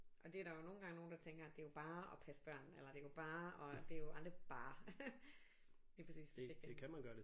Og det er der jo nogle gange nogen der tænker det er jo bare at passe børn eller det er jo bare det er jo aldrig bare lige præcis hvis ikke det